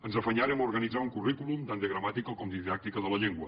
ens afanyàrem a organitzar un currículum tant de gramàtica com de didàctica de la llengua